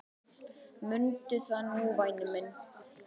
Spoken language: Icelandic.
Mundu það nú væni minn.